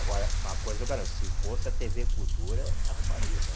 Agora, uma coisa eu garanto, se fosse a tê vê Cultura, arrumaria, né?